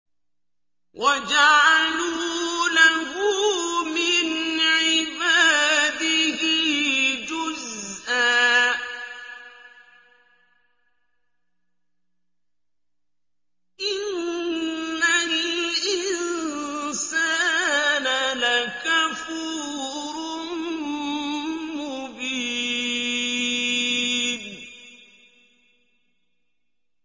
وَجَعَلُوا لَهُ مِنْ عِبَادِهِ جُزْءًا ۚ إِنَّ الْإِنسَانَ لَكَفُورٌ مُّبِينٌ